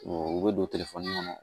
u bɛ don kɔnɔ